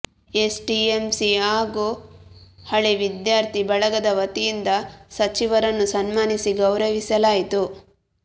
SDMC ಹಾಗೂ ಹಳೇ ವಿದ್ಯಾರ್ಥಿ ಬಳಗದ ವತಿಯಿಂದ ಸಚಿವರನ್ನು ಸನ್ಮಾನಿಸಿ ಗೌರವಿಸಲಾಯಿತು